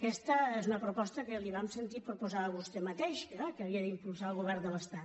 aquesta és una proposta que li vam sentir proposar a vostè mateix que era que havia d’impulsar el govern de l’estat